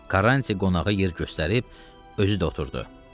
Karranti qonağa yer göstərib özü də oturdu.